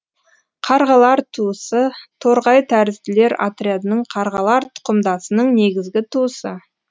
қарғалар туысы торғай тәрізділер отрядының қарғалар тұқымдасының негізгі туысы